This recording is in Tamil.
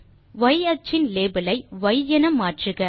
ய் அச்சின் லேபல் ஐ ய் என மாற்றுக